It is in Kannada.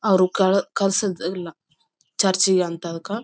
ಅವ್ರು ಕಾಲ್ ಕಲ್ಸುದು ಇಲ್ಲ ಚರ್ಚಿಗೆ ಅಂಥಾದ--